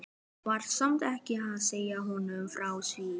Var samt ekki að segja honum frá því.